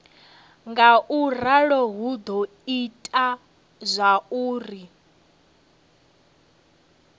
ngauralo hu do ita zwauri